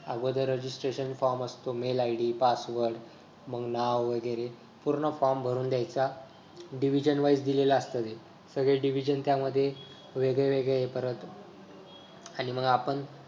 अगोदर registration form असतो mail id password मग नाव वगैरे पूर्ण form भरून द्यायचा. division wise दिलेलं असत हे सगळे division त्यामध्ये वेगळे वेगळे हे परत आणि मग आपण